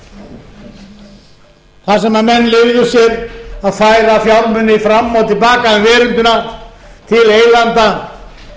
bankakerfinu þar sem menn leyfðu sér að færa fjármuni fram og til baka um veröldina til eigenda